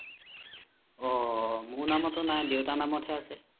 অ মোৰ নামতো নাই দেউতাৰ নামত হে আছে